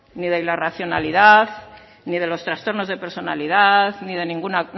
ni en la racionalidad ni en los trastornos de personalidad ni de ninguna